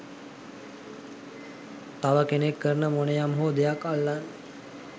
තව කෙනෙක් කරන මොනයම්හෝ දෙයක් අල්ලන්